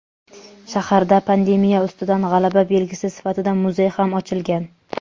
shaharda pandemiya ustidan g‘alaba belgisi sifatida muzey ham ochilgan.